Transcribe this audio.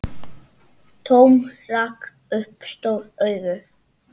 Tom rak upp stór augu.